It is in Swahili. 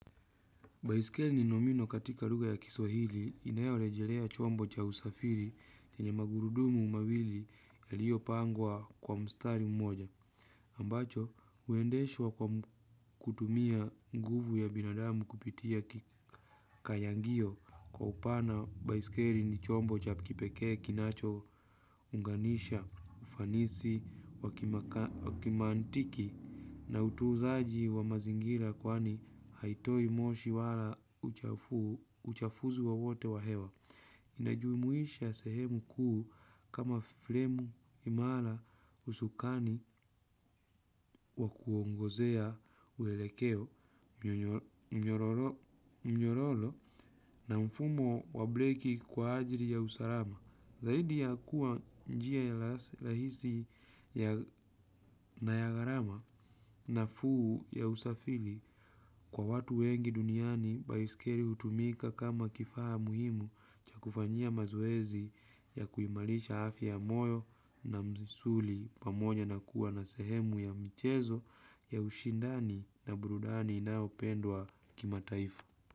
Baiskeli ni nomino katika lugha ya kiswahili inayo relejelea chombo cha usafiri chenye magurudumu mawili yaliyo pangwa kwa mstari mmoja. Ambacho, huendeshwa kwa kutumia nguvu ya binadamu kupitia kikayangio kwa upana baiskeli ni chombo cha ikipekee kinacho unganisha, ufanisi, wakimantiki na utunzaji wa mazingira kwani haitoi moshi wala uchafuzi wowote wa hewa. Inajumuhisha sehemu kuu kama fremu imara usukani wa kuongozea uelekeo mnyororo na mfumo wa breki kwa ajili ya usalama. Zaidi ya kuwa njia ya rahisi na ya gharama nafuu ya usafiri kwa watu wengi duniani baisikeli hutumika kama kifaa muhimu cha kufanyia mazoezi ya kuimarisha afya ya moyo na misuli pamoja na kuwa na sehemu ya michezo ya ushindani na burudani na inayopendwa kimataifa.